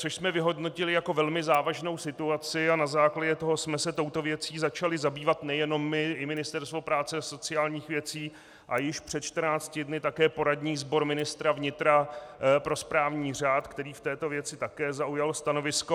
Což jsme vyhodnotili jako velmi závažnou situaci a na základě toho jsme se touto věcí začali zabývat nejenom my, i Ministerstvo práce a sociálních věcí a již před 14 dny také poradní sbor ministra vnitra pro správní řád, který v této věci také zaujal stanovisko.